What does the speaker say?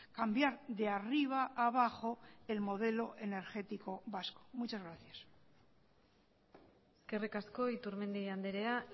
cambiar de arriba a abajo el modelo energético vasco muchas gracias eskerrik asko iturmendi andrea